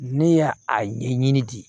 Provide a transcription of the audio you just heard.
Ne y'a a ɲɛɲini de